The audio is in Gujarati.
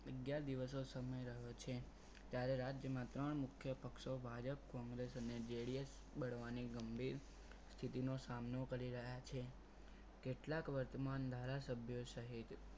અગિયાર દિવસનો સમય રહ્યો છે ત્યારે રાજ્યમાં ત્રણ મુખ્ય પક્ષો ભાજપ કોંગ્રેસ અને GDS બળવાની ગંભીર સ્થિતિનો સામનો કરી રહ્યા છે કેટલાક વર્તમાન ધારાસભ્યો સહિત